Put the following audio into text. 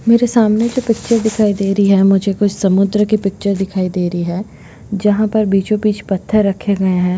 मेरे सामने एक पिक्चर दिखाई दे रही है मुझे कुछ समुद्र की पिक्चर दिखाई दे रही है जहाँ पर बीचो बिच पत्थर रखे गए है।